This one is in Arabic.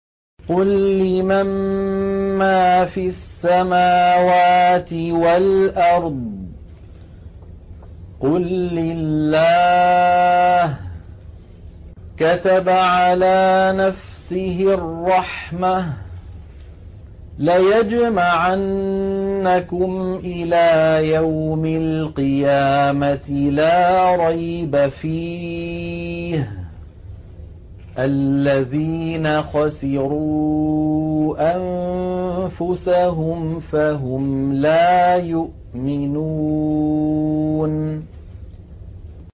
قُل لِّمَن مَّا فِي السَّمَاوَاتِ وَالْأَرْضِ ۖ قُل لِّلَّهِ ۚ كَتَبَ عَلَىٰ نَفْسِهِ الرَّحْمَةَ ۚ لَيَجْمَعَنَّكُمْ إِلَىٰ يَوْمِ الْقِيَامَةِ لَا رَيْبَ فِيهِ ۚ الَّذِينَ خَسِرُوا أَنفُسَهُمْ فَهُمْ لَا يُؤْمِنُونَ